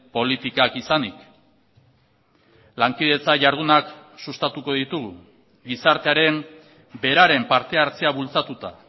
politikak izanik lankidetza jardunak sustatuko ditugu gizartearen beraren partehartzea bultzatuta